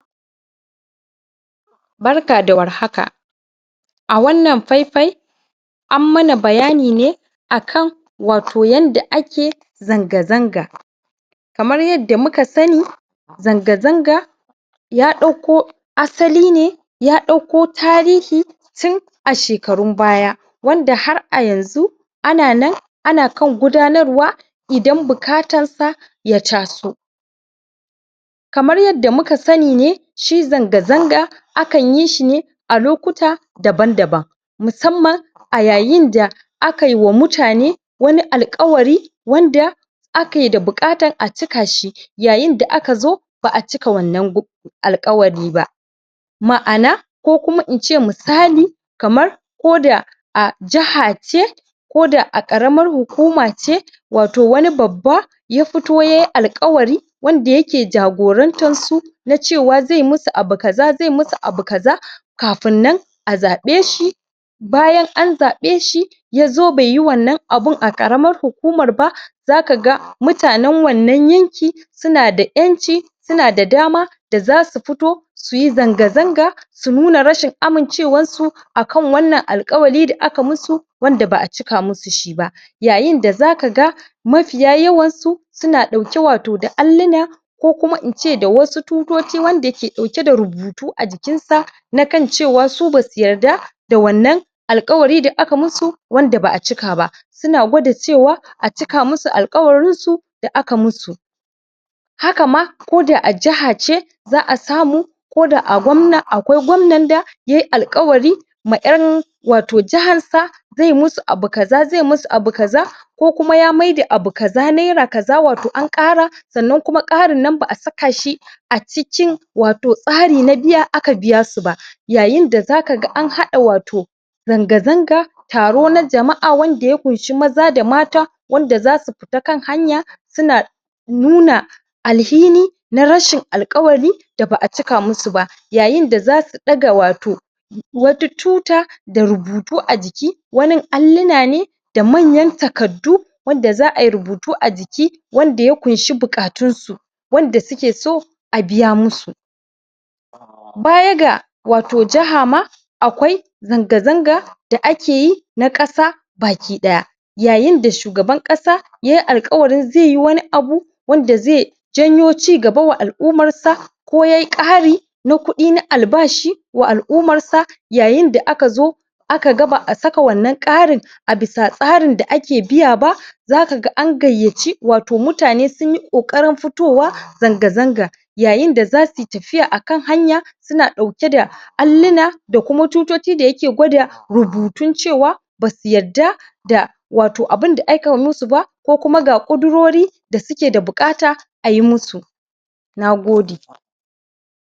barka da war haka a wannan faifai an mana bayani ne akan wato yanda ake zanga zanga kamar yadda muka sani zanga zanga ya ɗauko asali ne ya ɗauko tarihi tun a shekarun baya wanda har a yanzu ana nan ana kan gudanarwa idan buƙatar sa ya taso kamar yadda muka sani ne shi zanga zanga akan yi shi ne a lokuta daban daban musamman a yayin da akayi wa mutane wani alƙawari wanda ake da buƙatar a ciki shi yayin da aka zo ba aa cika wannan alƙawari ba ma'ana ko kuma in ce misali kamar koda a jaha ce koda a ƙaramar hukuma ce wato wani babba ya fito yayi alƙawari wanda yake jagorantar su na cewa zai musu abu kaza zai musu abu kaza kafiin nan a zabe shi bayan an zabe shi ya zo bai yi wannan abun a ƙaramar hukumar ba zaka ga mutanen wannan yankin sunada 'yanci sunada dama da zasu fito suyi zanga zanga su nuna rashin amincewar su akan wannan alƙawari da aka musu wanda ba a cika musu shi ba yayin da zakaga mafiya yawan su suna dauke wato da alluna ko kuma in ce da wasu tutoci wanda ke dauke da rubutu a jikin sa na kan cewa su basu yarda da wannan alƙawari da aka musu wanda ba'a cika ba suna gwada cewa a cika musu alƙawarin su da aka musu haka ma koda a jaha ce za'a samu koda akwai gwannan da yayi alƙawari ma 'yan wato jahar sa zai musu abu kaza zai musu abu kaza ko kuma ya mai da abu kaza naira kaza wato an ƙara sannan kuma ƙarin nan ba'a saka shi a cikin wato tsari na biya aka biya su ba yayin da zaka ga an hada wato zanga zanga taro na jama'a wanda ya ƙunshi maza da mata wanda zasu fita kan hanya suna nuna alhini na rashin alƙawari da ba a cika musu ba yayin da zasu daga wato wata tuta da rubutu a jiki wanin alluna ne da manyan takaddu wanda za'a yi rubutu a jiki wanda ya ƙushi buƙatun su wanda suke so a biya musu baya ga wato jaha ma akwai zanga zanga da ake yi na ƙasa baki daya yayin da shugaban ƙasa yayi alƙawarin zai yi wani abu wanda zai janyo cigaba wa al'umar sa ko yayi ƙari na kudi na albashi wa al'umar sa yayin da aka zo aka ga ba a saka wannan ƙarin a bisa tsarin da ake biya zakaga an gaiyaci wato mutane sunyi ƙoƙarin fitowa zanga zanga yayin da zasu yi tafiya akan hanya suna dauke da alluna da kuma tutoci da yake gwada rubutun cewa basu yadda da wato abinda akayi musu ba ko kuma ga ƙudirori da suke da buƙata ayi musu nagode